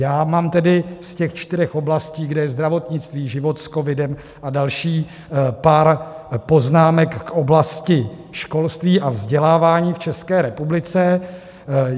Já mám tedy z těch čtyř oblastí, kde je zdravotnictví, život s covidem a další, pár poznámek k oblasti školství a vzdělávání v České republice.